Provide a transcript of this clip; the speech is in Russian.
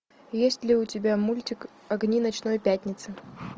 есть ли у тебя мультик огни ночной пятницы